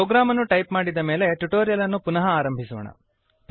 program ಅನ್ನು type ಮಾಡಿದ ಮೇಲೆ ಟ್ಯುಟೋರಿಯಲ್ ಅನ್ನು ಪುನಃ ಆರಂಭಿಸೋಣ